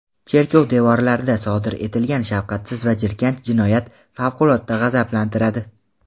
Cherkov devorlarida sodir etilgan shafqatsiz va jirkanch jinoyat favqulodda g‘azablantiradi.